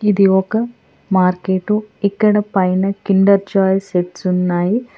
ఇది ఒక మార్కెటు ఇక్కడ పైన కిండర్జాయ్ సెట్స్ ఉన్నాయి.